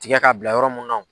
Tigɛ k'a bila yɔrɔ mun na o